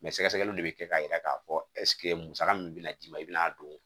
Mɛ sɛgɛsɛgɛliw de bɛ kɛ k'a yira k'a fɔ musaka min bɛna d'i ma i bɛna'a don